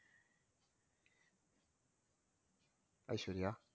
Aishwarya